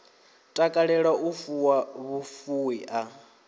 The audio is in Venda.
takalela u fuwa vhufuwi a